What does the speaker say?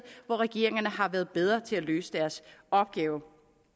hvor regeringerne har været bedre til at løse deres opgave